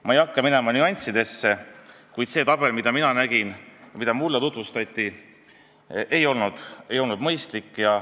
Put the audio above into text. Ma ei hakka minema nüanssidesse, kuid see tabel, mida mina nägin ja mida mulle tutvustati, ei olnud mõistlik.